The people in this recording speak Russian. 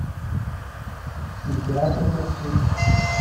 император маршрут